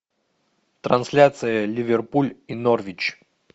трансляция ливерпуль и норвич